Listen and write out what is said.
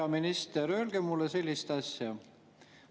Hea minister, öelge mulle sellist asja.